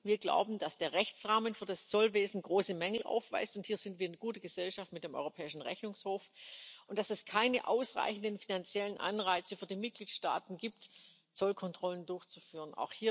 Wir glauben, dass der Rechtsrahmen für das Zollwesen große Mängel aufweist hier befinden wir uns in guter Gesellschaft mit dem Europäischen Rechnungshof und dass es keine ausreichenden finanziellen Anreize für die Mitgliedstaaten gibt, Zollkontrollen durchzuführen.